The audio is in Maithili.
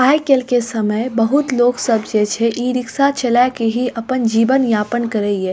आजकल के समय बहुत लोग सब जे छे ई-रिक्शा चला के ही अपन जीवन यापन कर हिय।